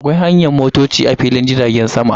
Akwai hanyar motoci a filin jiragen sama.